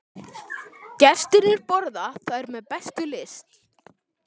Gestirnir borða þær með bestu lyst.